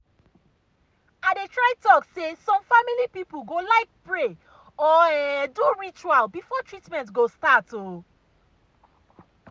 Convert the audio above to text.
i dey try talk say some family people go like pray or um do ritual before treatment go start. um